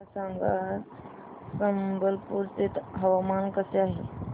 मला सांगा आज संबलपुर चे हवामान कसे आहे